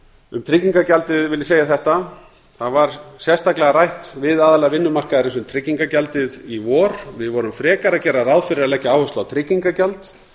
um tryggingagjaldið vil ég segja að það var sérstaklega rætt við aðila vinnumarkaðarins um tryggingagjaldið í vor við gerðum frekar ráð fyrir að leggja áherslu á tryggingagjald